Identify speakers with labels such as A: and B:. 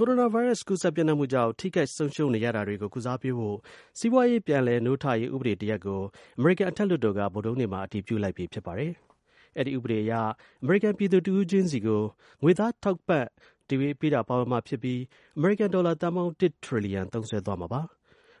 A: ိုရိုနာဗိုင်းရပ်စ် ကူးစက် ပျံ့နှံ့မှုကြောင့် ထိခိုက် ဆုံးရှုံးနေရတာတွေကို ကုစားပေးဖို့ စီးပွားရေး ပြန်လည် နိုးထရေး ဥပဒေ တစ်ရပ် ကို အမေရိကန်အထက်လွှတ်တော်က ဗုဒ္ဓဟူးနေ့မှာ အတည်ပြုလိုက်ပြီ ဖြစ်ပါတယ်။ အဲဒီ ဥပဒေအရ အမေရိကန် ပြည်သူတစ်ဦးချင်းစီကို ငွေသား တိုက်ရိုက် ထောက်ပံ့ပေးတာ ပါဝင်မှာ ဖြစ်ပြီး အမေရိကန် ဒေါ်လာ ၁ ထရီလီယံ သုံးစွဲသွားမှာပါ။